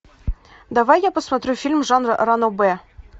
давай я посмотрю фильм жанра ранобэ